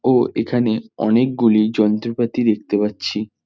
ও এখানে অনেকগুলি যন্ত্রপাতি দেখতে পাচ্ছি।